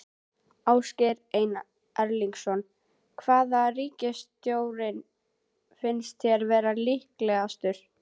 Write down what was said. Ásgeir Erlendsson: Hvaða ríkisstjórn finnst þér vera líklegust?